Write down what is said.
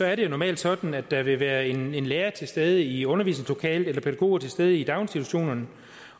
er det normalt sådan at der vil være en lærer til stede i undervisningslokalet eller pædagoger til stede i daginstitutionerne